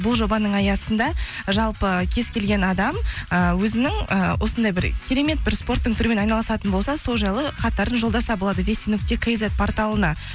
бұл жобаның аясында жалпы кез келген адам ыыы өзінің ы осындай бір керемет бір спорттың түрімен айналысатын болса сол жайлы хаттарын жолдаса болады нүкте кизет порталына